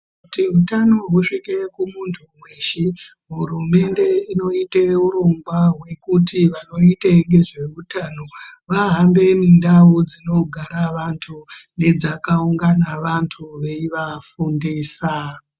Kuti utano husvike kumuntu weshe, hurumende inoite urongwa hwekuti vanoite ngezveutano vahambe mindau dzinogara vantu, nedzakaungana vantu veivafundisa.